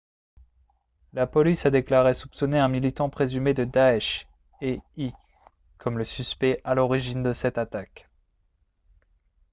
la police a déclaré soupçonner un militant présumé de daesh éi comme le suspect à l'origine de cette attaque